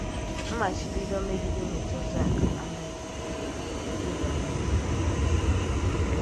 M̀màchíbídò mé̩gíde ímètụ̀ òzù áká ànàghị̀ ike íbànye n’íhè ya.